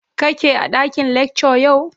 kake a dakin lecture yau?